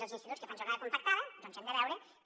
als instituts que fan jornada compactada hem de veure que